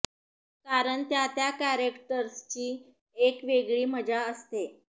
कारण त्या त्या कॅरेक्टर्सची एक वेगळी मजा असते